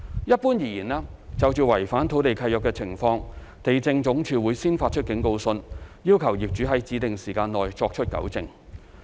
一般而言，就違反土地契約的情況，地政總署會先發出警告信，要求業主在指定時限內作出糾正。